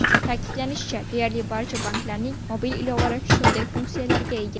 Ta’kidlanishicha, deyarli barcha banklarning mobil ilovalari shunday funksiyaga ega.